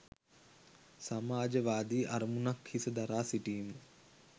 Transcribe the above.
සමාජවාදී අරමුණක් හිස දරා සිටීම